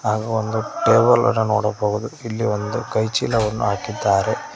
ಹಾಗು ಒಂದು ಟೇಬಲ್ ಅನ್ನು ನೋಡಬಹುದು ಇಲ್ಲಿ ಒಂದು ಕೈಚೀಲವನ್ನು ಹಾಕಿದ್ದಾರೆ.